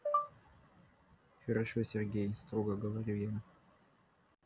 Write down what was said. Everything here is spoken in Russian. хорошо сергей строго говорю я